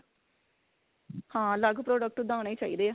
ਹਾਂ ਅਲੱਗ product ਓਦਾਂ ਆਣੇ ਚਾਹੀਦੇ ਆ